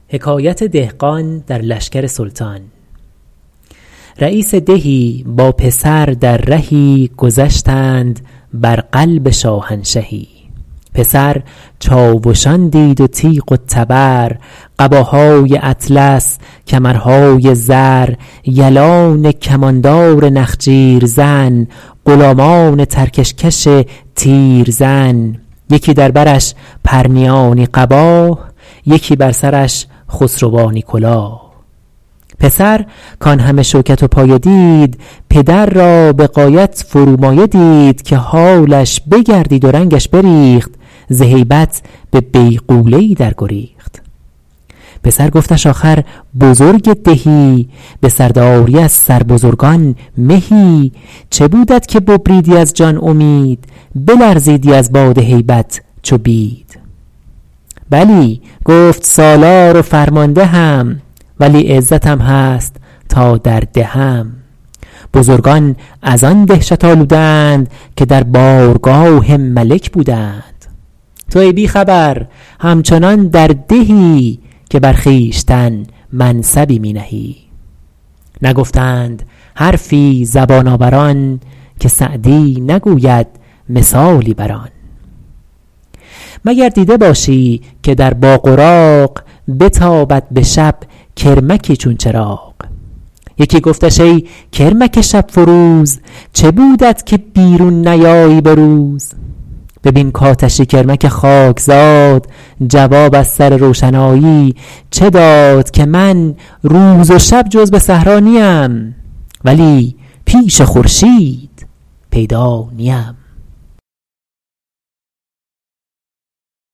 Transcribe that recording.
رییس دهی با پسر در رهی گذشتند بر قلب شاهنشهی پسر چاوشان دید و تیغ و تبر قباهای اطلس کمرهای زر یلان کماندار نخجیر زن غلامان ترکش کش تیرزن یکی در برش پرنیانی قباه یکی بر سرش خسروانی کلاه پسر کان همه شوکت و پایه دید پدر را به غایت فرومایه دید که حالش بگردید و رنگش بریخت ز هیبت به بیغوله ای در گریخت پسر گفتش آخر بزرگ دهی به سرداری از سر بزرگان مهی چه بودت که ببریدی از جان امید بلرزیدی از باد هیبت چو بید بلی گفت سالار و فرماندهم ولی عزتم هست تا در دهم بزرگان از آن دهشت آلوده اند که در بارگاه ملک بوده اند تو ای بی خبر همچنان در دهی که بر خویشتن منصبی می نهی نگفتند حرفی زبان آوران که سعدی نگوید مثالی بر آن مگر دیده باشی که در باغ و راغ بتابد به شب کرمکی چون چراغ یکی گفتش ای کرمک شب فروز چه بودت که بیرون نیایی به روز ببین کآتشی کرمک خاکزاد جواب از سر روشنایی چه داد که من روز و شب جز به صحرا نیم ولی پیش خورشید پیدا نیم